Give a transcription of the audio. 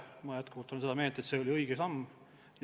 Ma jätkuvalt olen seda meelt, et see oli õige samm.